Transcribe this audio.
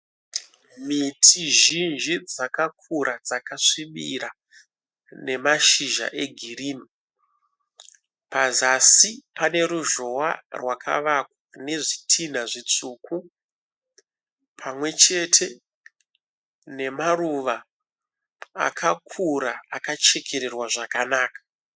Miti zhinji dzakakura dzakasvibira nemashizha egirini pazasi paneruzhowa rwakavakwa nezvitinha zvitsvuku pamwechete nemaruva akakura akachekererwa zvakanaka.